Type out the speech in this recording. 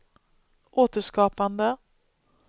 återskapande